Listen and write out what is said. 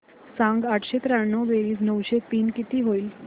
सांग आठशे त्र्याण्णव बेरीज नऊशे तीन किती होईल